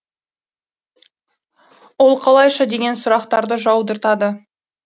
ол қалайша деген сұрақтарды жаудыртады